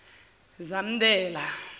zamdela